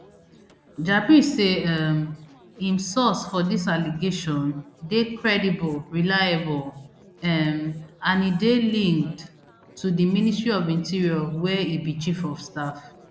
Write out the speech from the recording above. jabri say um im source for dis allegation dey credible reliable um and e dey linked to di ministry of interior wia e be chief of staff